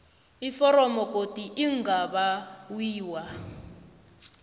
iforomo godu lingabawiwa